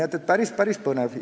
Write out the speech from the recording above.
Nii et päris-päris põnev!